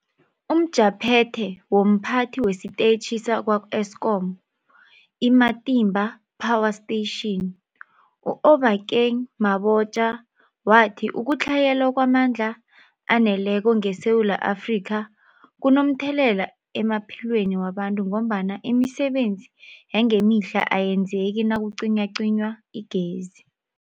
UmJaphethe womPhathi wesiTetjhi sakwa-Eskom i-Matimba Power Station u-Obakeng Mabotja wathi ukutlhayela kwamandla aneleko ngeSewula Afrika kunomthelela emaphilweni wabantu ngombana imisebenzi yangemihla ayenzeki nakucinywacinywa igezi.